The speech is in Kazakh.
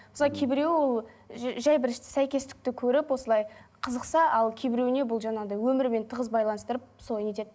мысалы кейбіреуі ол жай бір сәйкестікті көріп осылай қызықса ал кейбіреуіне бұл жаңағындай өмірімен тығыз байланыстырып сол не етеді